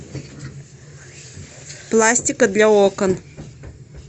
пластика для окон